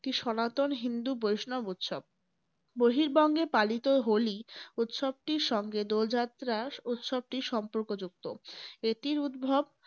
একটি সনাতন হিন্দু বৈষ্ণব উৎসব। বর্হিবঙ্গে পালিত হোলি উৎসবটির সঙ্গে দোল যাত্রার উৎসবটি সম্পর্কযুক্ত। এটির উদ্ভব